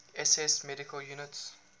ss medical units